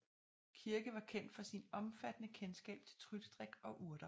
Kirke var kendt for sin omfattende kendskab til trylledrik og urter